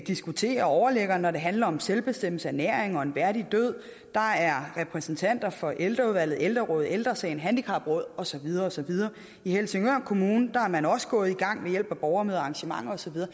diskutere overliggeren når det handler om selvbestemmelse ernæring og en værdig død der er repræsentanter fra ældreudvalget ældrerådet ældre sagen handicapråd og så videre og så videre i helsingør kommune er man også gået i gang ved hjælp af borgermøder og arrangementer og så videre